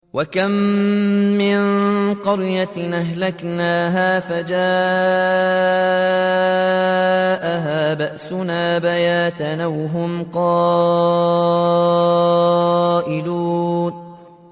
وَكَم مِّن قَرْيَةٍ أَهْلَكْنَاهَا فَجَاءَهَا بَأْسُنَا بَيَاتًا أَوْ هُمْ قَائِلُونَ